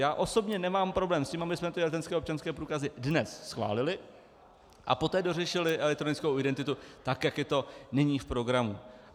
Já osobně nemám problém s tím, abychom ty elektronické občanské průkazy dnes schválili a poté dořešili elektronickou identitu, tak jak je to nyní v programu.